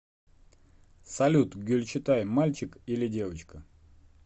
салют гюльчатай мальчик или девочка